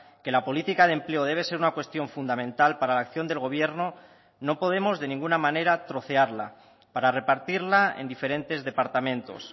que la política de empleo debe ser una cuestión fundamental para la acción del gobierno no podemos de ninguna manera trocearla para repartirla en diferentes departamentos